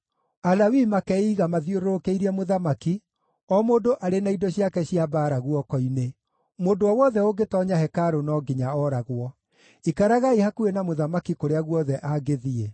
Alawii makeiga mathiũrũrũkĩirie mũthamaki, o mũndũ arĩ na indo ciake cia mbaara guoko-inĩ. Mũndũ o wothe ũngĩtoonya hekarũ no nginya oragwo. Ikaragai hakuhĩ na mũthamaki kũrĩa guothe angĩthiĩ.”